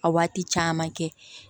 A waati caman kɛ